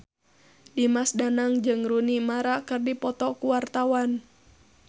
Dimas Danang jeung Rooney Mara keur dipoto ku wartawan